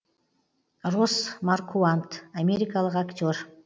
росс маркуант америкалық актер